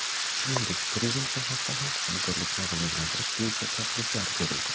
Shuningdek, turizm sohasida ham hamkorlikni rivojlantirish bo‘yicha takliflar ko‘rildi.